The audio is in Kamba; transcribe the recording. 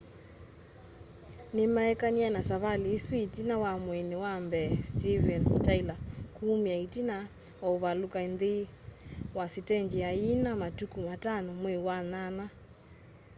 nimaekanie na savali isu itina wa mwini wa mbee stevem tyler kuumia itina wa uvaluka nthi wa sitenji ayiina matuku 5 mwei wa nyanya